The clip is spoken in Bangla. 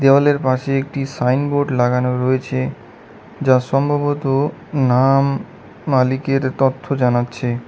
দেওয়ালের পাশে একটি সাইনবোর্ড লাগানো রয়েছে যা সম্ভবত নাম মালিকের তথ্য জানাচ্ছে।